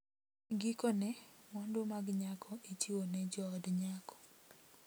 Gikone, mwandu mag nyako ichiwo ne jood nyako.